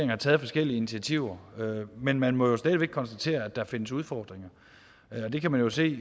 har taget forskellige initiativer men man må jo stadig væk konstatere at der findes udfordringer det kan man jo se